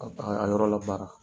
A a yɔrɔ labaara